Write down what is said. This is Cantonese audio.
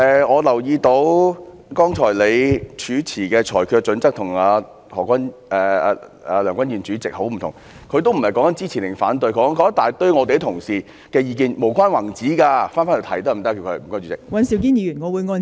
我留意到妳剛才主持的裁決準則與梁君彥主席很不同，何君堯議員也不是在說支持或反對，他只在不斷批評我們一些同事，是無關宏旨的意見，可否請他返回這項議題？